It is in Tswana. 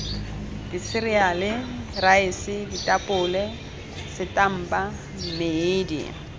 diseriale raese ditapole setampa mmedi